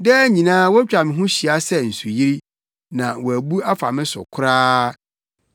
Daa nyinaa wotwa me ho hyia sɛ nsuyiri, na wɔabu afa me so koraa.